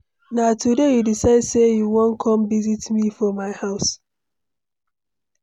Na today you decide sey you wan come visit me for my house?